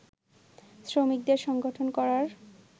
শ্রমিকদের সংগঠন করার